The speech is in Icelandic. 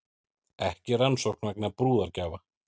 Ekki rannsókn vegna brúðargjafa